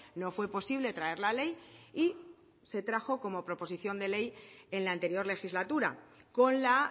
no fue posible traer la ley y se trajo como proposición de ley en la anterior legislatura con la